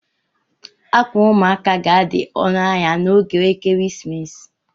Ákwà ụmụaka ga-adị ọnụ ahịa n'oge ekeresimesi